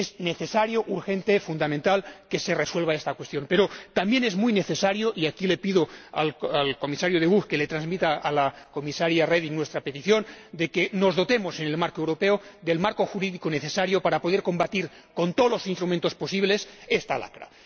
Es necesario, urgente, fundamental que se resuelva esta cuestión, pero también es muy necesario ―y aquí le pido al Comisario De Gucht que le transmita a la Comisaria Reding nuestra petición― que nos dotemos, en el ámbito europeo, del marco jurídico necesario para poder combatir con todos los instrumentos posibles esta lacra.